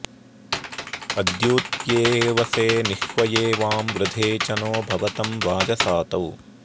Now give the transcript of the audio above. अद्यूत्येऽवसे नि ह्वये वां वृधे च नो भवतं वाजसातौ